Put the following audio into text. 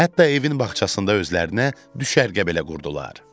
Hətta evin bağçasında özlərinə düşərgə belə qurdular.